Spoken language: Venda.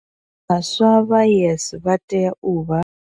Vhaswa vha YES vha tea u vha.